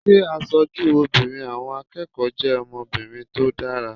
Ṣé aṣojú obìnrin àwọn akẹ́kọ̀ọ́ jẹ́ ọmọbìnrin tó dára?